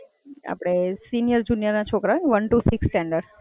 આપડે senior junior ના છોકરાઓ હોય ને, one to six standard